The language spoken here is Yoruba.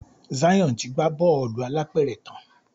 Zion tí gbà Bọ́ọ̀lù alápẹ̀rẹ̀ tán.